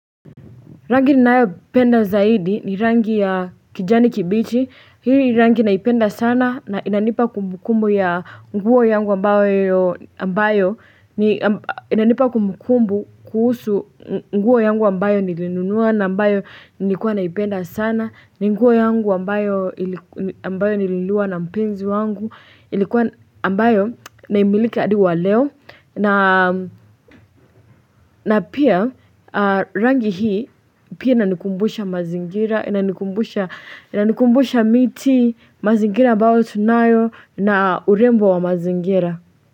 Rangi ninayopenda zaidi ni rangi ya kijani kibichi, hii ni rangi naipenda sana na inanipa kumbukumbu kuhusu nguo yangu ambayo niliinunua na ambayo nilikuwa naipenda sana, ni nguo yangu ambayo nilinunuliwa na mpenzi wangu, ilikuwa ambayo naimilika hadi wa leo. Na pia rangi hii pia inanikumbusha mazingira, inanikumbusha miti, mazingira ambayo tunayo na urembo wa mazingira.